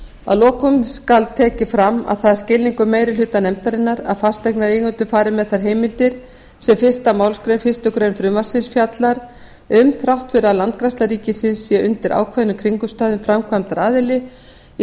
að lokum skal tekið fram að það er skilningur meiri hluta nefndarinnar að fasteignareigendur fari með þær heimildir sem fyrstu málsgrein fyrstu grein frumvarpsins fjallar um þrátt fyrir að landgræðsla ríkisins sé undir ákveðnum kringumstæðum framkvæmdaraðili í